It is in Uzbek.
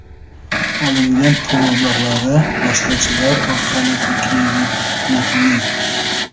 Olingan pul mablag‘lari vositachilar orqali Turkiyaga jo‘natilgan.